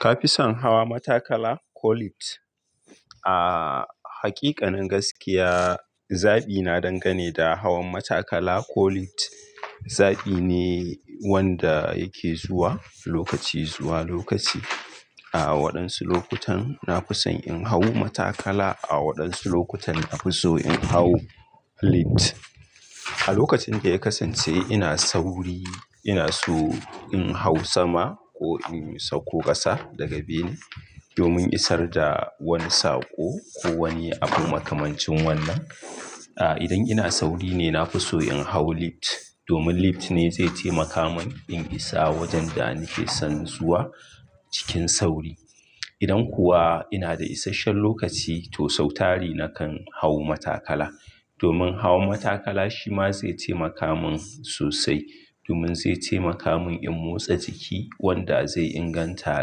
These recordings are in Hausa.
Ka fi son hawa matakala ko lift? Aaa, hakikanin gaskiya, zaɓi na dangane da hawan matakala ko lift. Zaɓi ne wanda yake zuwa lokaci zuwa lokaci. A waɗansu lokutan, na fi son in hau matakala. A waɗansu lokutan, na fi so in hau lift. A lokacin da ya kasance ina sauri, ina so in hau sama ko in sauko ƙasa daga bene domin isar da wani sako ko wani abu makamancin wannan. A idan ina sauri ne, na fi so in hau lift domin lift ne zai taimaka min in isa wajen da nake son zuwa cikin sauri. Idan kuwa ina da isashen lokaci to sautari nakan hau matakala. Domin hawan matakala shi ma zai taimaka min sosai. Domin zai taimaka min in motsa jiki wanda zai inganta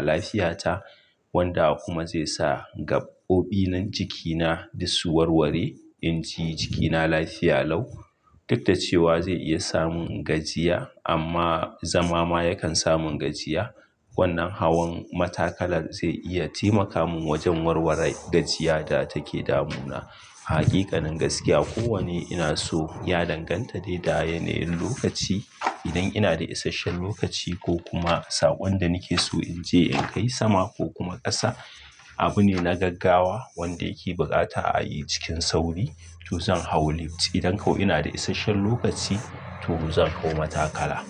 lafiyata wanda kuma zai sa gaɓoɓin jikina duk su warware, in ji jikina lafiya lau. Duk da cewa zai iya samun gajiya amma zama ma yakan samun gajiya. Wannan hawan matakala zai iya taimaka min wajen warware gajiya da take damuna. Hakikanin gaskiya, ko wane ina so ya danganta dai da yanayin lokaci. Idan ina da isashen lokaci ko kuma saƙon da nake so in je in kai sama ko kuma ƙasa, abu ne na gaggawa wanda yake buƙata a yi cikin sauri to zan hau lift. Idan ko ina da isashen lokaci to zan hau matakala.